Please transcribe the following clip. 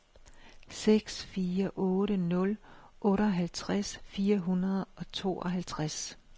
seks fire otte nul otteoghalvtreds fire hundrede og tooghalvtreds